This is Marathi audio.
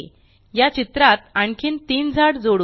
या चित्रात आणखीन तीन झाड जोडू